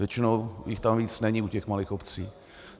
Většinou jich tam víc není u těch malých obcí.